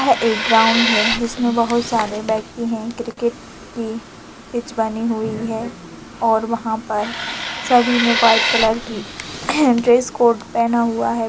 है एक ग्राउंड है जिसमे बहुत सारे व्यक्ति है क्रिकेट की पिच बनी हुई है और वहा पर सभी ने व्हाइट कलर की ड्रेस कोड पेहना हुआ है।